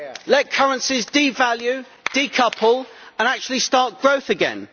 Let currencies devalue, decouple, and actually start growth again.